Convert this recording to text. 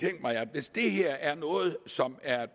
hvis det her er noget som er